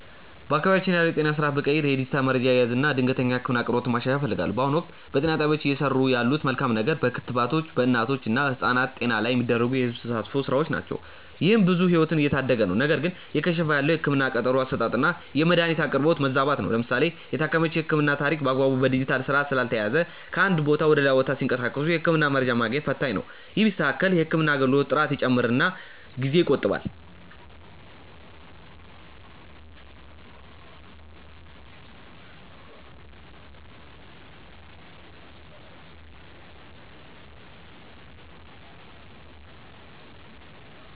በአካባቢያችን ያለውን የጤና ስርዓት ብቀይር የዲጂታል መረጃ አያያዝን እና የድንገተኛ ህክምና አቅርቦትን ማሻሻል እፈልጋለሁ። በአሁኑ ወቅት፣ በጤና ጣቢያዎች እየሰሩ ያለት መልካም ነገር በክትባት በእናቶች እና ህጻናት ጤና ላይ የሚደረጉ የህዝብ ተሳትፎ ስራዎች ናቸው። ይህም ብዙ ህይወትን እየታደገ ነው። ነገር ግን እየከሸፈ ያለው የህክምና ቀጠሮ አሰጣጥና የመድኃኒት አቅርቦት መዛባት ነው። ለምሳሌ የታካሚዎች የህክምና ታሪክ በአግባቡ በዲጂታል ስርዓት ስላልተያያዘ ከአንድ ቦታ ወደ ሌላ ቦታ ሲንቀሳቀሱ የህክምና መረጃ ማግኘት ፈታኝ ነው። ይህ ቢስተካከል የህክምና አገልግሎት ጥራት ይጨምርና ጊዜ ይቆጥባል።